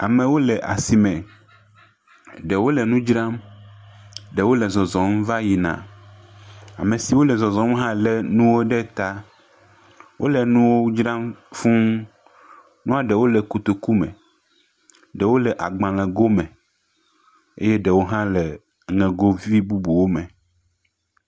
Amewo le asime, ɖewo le nu dzam, ɖewo le zɔzɔm va yina. Ame siwo le zɔzɔm hã le nu ɖe ta. Wole nuwo dzram fuu. Nua ɖewo le kotoku me, ɖewo le agbalẽ go me eye ɖewo hã le nugovi bubuwo me.